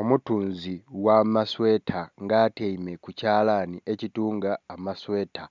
Omutunzi gha masweeta nga atyaime ku kyalani ekitunga amasweeta.